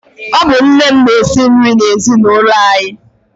Ọ bụ nne m na-esi nri n'ezinaụlọ anyị.